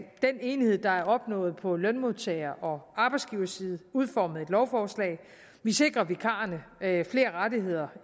enighed der er opnået på lønmodtager og arbejdsgiversiden udformet et lovforslag vi sikrer vikarerne flere rettigheder